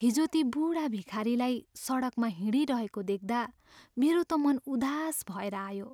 हिजो ती बुढा भिखारीलाई सडकमा हिँडिरहेको देख्दा मेरो त मन उदास भएर आयो।